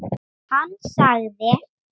Hann sagði